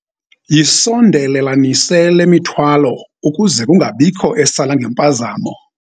Yisondelelanise le mithwalo ukuze kungabikho esala ngempazamo.